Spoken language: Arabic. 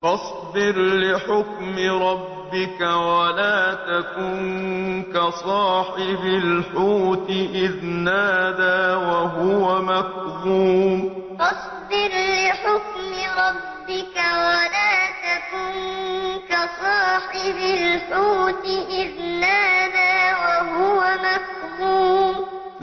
فَاصْبِرْ لِحُكْمِ رَبِّكَ وَلَا تَكُن كَصَاحِبِ الْحُوتِ إِذْ نَادَىٰ وَهُوَ مَكْظُومٌ فَاصْبِرْ لِحُكْمِ رَبِّكَ وَلَا تَكُن كَصَاحِبِ الْحُوتِ إِذْ نَادَىٰ وَهُوَ مَكْظُومٌ